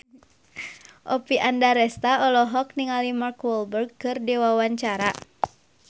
Oppie Andaresta olohok ningali Mark Walberg keur diwawancara